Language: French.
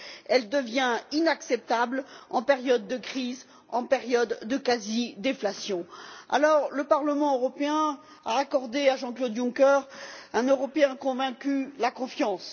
Elle devient inacceptable en période de crise, en période de quasi déflation. Le Parlement européen a accordé à Jean Claude Juncker, un Européen convaincu, la confiance.